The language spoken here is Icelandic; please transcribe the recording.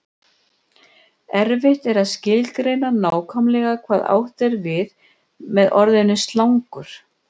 erfitt er að skilgreina nákvæmlega hvað átt er við með orðinu slangur